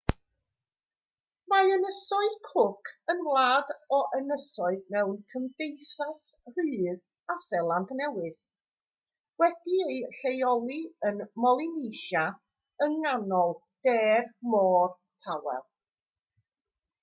mae ynysoedd cook yn wlad o ynysoedd mewn cymdeithas rydd â seland newydd wedi eu lleoli ym mholynesia yng nghanol de'r môr tawel